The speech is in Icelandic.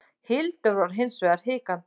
Hildur var hins vegar hikandi.